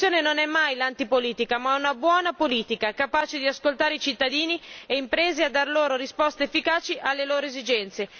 La soluzione non è mai l'antipolitica, ma una buona politica, capace di ascoltare i cittadini e le imprese e di dare risposte efficaci alle loro esigenze.